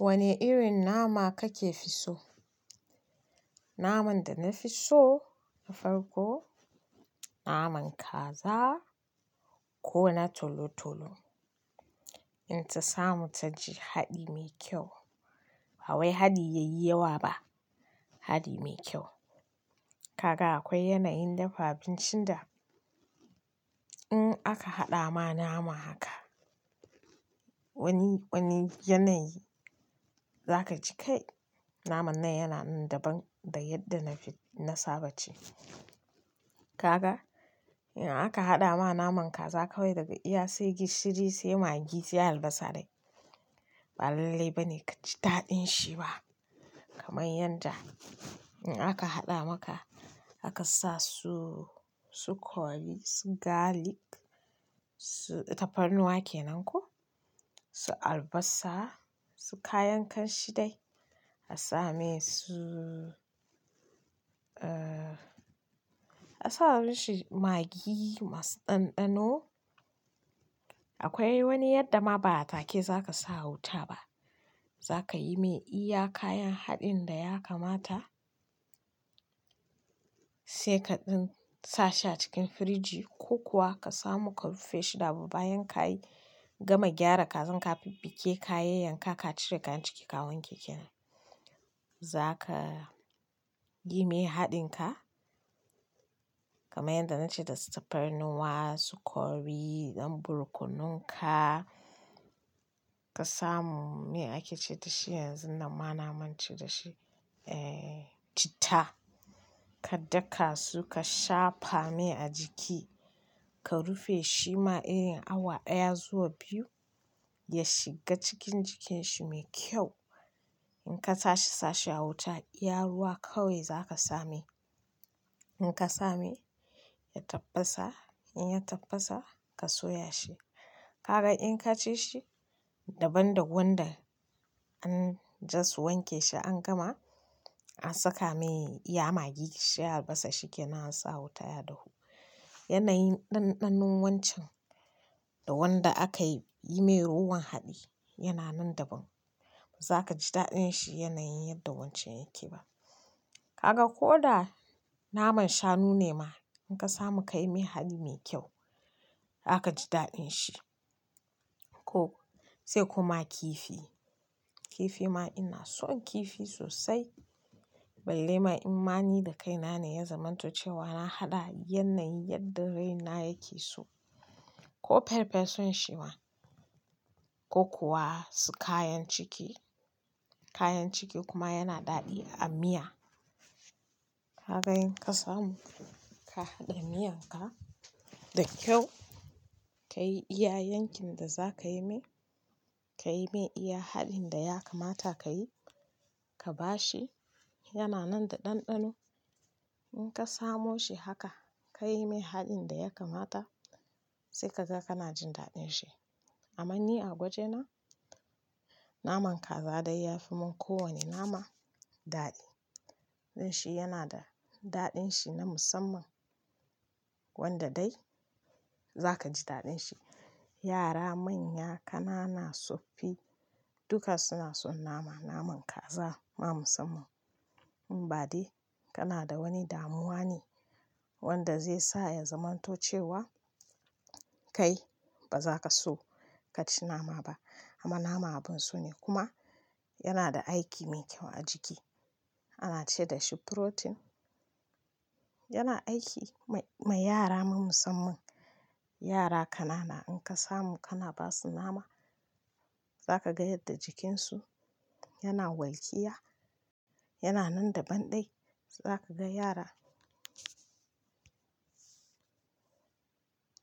Wane irin nama kake so? Naman da na fi so na farko naman kaza ko na tolo-tolo. In ta samu ta ji haɗi mai kyau. Ba wai haɗi ya yi yawa ba, haɗi mai kyau. Kaga akwai yanayin dafa abincin da in aka haɗa ma nama haka, wani, wani yanayi za ka ji kai naman nan yana nan daban da yadda na fi-- na saba ci. Kaga in aka haɗa ma naman kaza kawai daga iya sai gishiri sai magi sai albasa dai, ba lalle ba ne ka ji daɗin shi ba. Kamar yanda in aka haɗa maka, aka sa su, su curry, su garlic, su-- tafarnuwa ke nan ko, su albasa, su kayan kanshi dai, a sa mai su, eh, a sa mi shi magi masu ɗanɗano. Akwai wani yadda ma ba a take za ka sa wuta ba. Za ka yi mai iya kayan haɗin da ya kamata sai ka ɗin-- sa sha cikin firiji ko kuwa ka samu ka rufe shi kamin bayan ka yi gama gyara kazan ka, fuffuke kayayyanka, ka cire kayan ciki ka wanke kenan. Za ka yi mai haɗinka kamar yadda na ce da tafarnuwa, su curry, dan borkununka ka samu me ake ce da shi yanzun nan ma na manta da shi, eh, chitta. Ka daka su ka shafa mai a jiki, ka rufe shi ma iya awa ɗaya zuwa biyu ya shiga cikin jikin shi mai kyau. In ka tashi sa sha wuta, iya ruwa kawai za ka sami. In ka sami ya tafasa, in ya tafasa ka soya shi. Kaga in ka ci shi daban da wanda an just wanke shi an gama an saka mai iya magi, gishiri, albasa shikenan an sa wuta ya dahu. Yanayin ɗanɗanon wancan da wanda aka yi mai ruwan haɗi yana nan daban. Ba za ka ji daɗin shi yanayin yadda wancan yake ba. Kaga ko da naman shanu ne ma in ka samu ka yi mai haɗi mai kyau, za ka ji daɗin shi. Ko-- sai kuma kifi. Kifi ma ina son kifi sosai. Balle ma imani da kaina ne ya zamanto cewa na haɗa yanayin yadda raina yake so. Ko farfesun shi ma ko kuwa su kayan ciki. Kayan ciki kuma yana daɗi a miya. Kaga in ka samu ka haɗa miyan ka da kyau, ka yi iya yanki da za ka yi mai, ka yi mai iya haɗin da ya kamata ka yi, ka ba shi, yana nan da ɗanɗano. In ka samo shi haka ka yi mai haɗin da ya kamata sai kaga kana jin daɗin shi. Amma ni a goje na naman kaza dai ya fi min kowani nama daɗi. Don shi yana da daɗin shi na musamman wanda dai za ka ji daɗin shi. Yara manya, ƙanana, tsofaffi duka suna son nama. Naman kaza ma musamman. In ba dai kana da wani damuwa ne wanda zai sa ya zamanto cewa kai ba za ka so ka ci nama ba. Amma nama abun so ne kuma yana da aiki mai kyau a jiki. Ana ce da shi furotin. Yana aiki mai, ma yara ma musamman. Yara ƙanana in ka samu kana ba su nama za ka ga yadda jikin su yana walƙiya, yana nan daban dai. Za ka ga yara,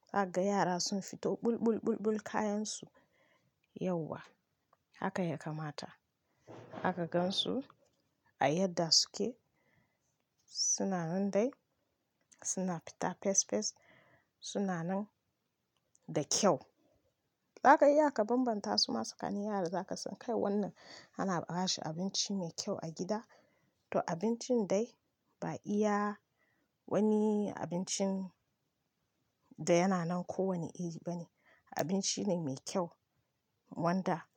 za ka ga yara sun fito ɓul-ɓul-ɓul-ɓul kayan su yauwa. Haka ya kamata. Aka gan su a yadda suke suna nan dai, suna fita fes fes, suna nan da kyau. Zaka iya ka bambanta su ma tsakanin yara za ka san kai wannan ana ba shi abinci mai kyau a gida to abincin dai ba iya wani abincin da yana nan kowani iri ba ne. Abinci ne mai kyau wanda.